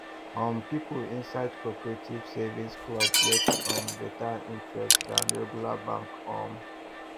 um people inside cooperative savings club get um better interest than regular bank um